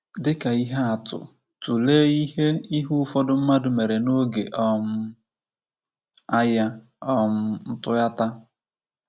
Dị ka ihe atụ, tụlee ihe ihe ụfọdụ mmadụ mere n’oge um Agha um Ntụghata.